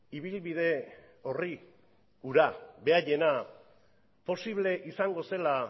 ibilbide orri hura beraiena posible izango zela